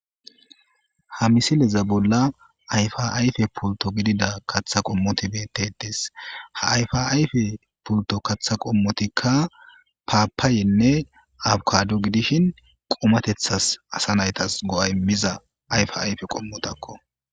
Ha misileza bolla ayfa ayfe puuto gidida katha qommoti betetes ha afa ayfe puuto katha qommotikka paapaayenne abkado gidishin qumatethas asa naytas go7a imiza ayfa ayfe qommotakko.